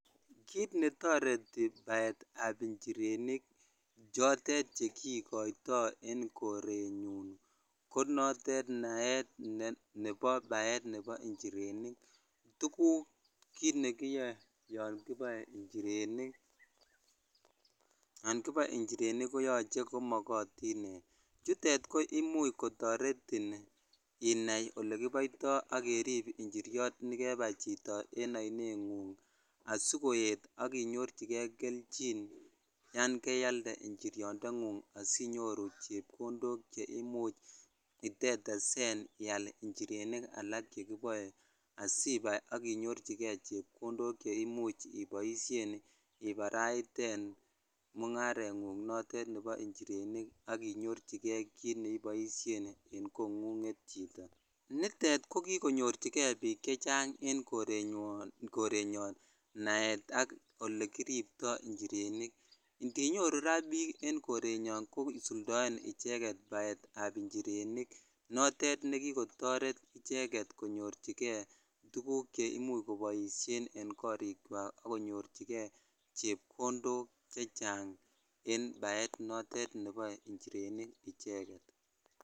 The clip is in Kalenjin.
Kiit netoreti baetaab njirenik chotet chekikoito en korenyun ko notet naet nebo njirenik, tukuk kiit nekiyoe yoon kiboe njirenik koyoche komokotin, chutet koimuch kotoretin inai olekiboito ak kerib njiriot nekebai chito en oineng'ung asikoet ak inyorchike kelchin yoon kealde nchiriondeng'ung asinyoru chepkondok cheimuch itetesen ial nchirenik alak chekiboe asibai ak inyorchike chepkondok cheimuch iboishen ibaraiten mung'areng'ung notet nebo njirenik ak inyorchike kiit neiboishen en kong'unget chito, nitet ko kikonyorchike biik chechang en korenyon naet ak olekiripto njirenik, ndinyoru raa biik en korenyon kosuldoen icheket baetab njirenik notet nekikotoret icheket konyorchike tukuk cheimuch koboishen en korikwak ak konyorchike chepkondok chechang en baet notet neboe njirenik icheket.